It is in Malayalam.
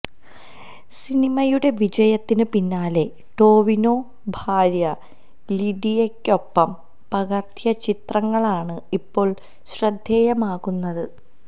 സിനിമയുടെ വിജയത്തിന് പിന്നാലെ ടൊവിനൊ ഭാര്യ ലിഡിയയ്ക്കൊപ്പം പകര്ത്തിയ ചിത്രങ്ങളാണ് ഇപ്പോള് ശ്രദ്ധേയമാകുന്നത്